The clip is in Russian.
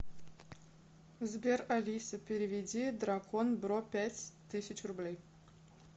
сбер алиса переведи дракон бро пять тысяч рублей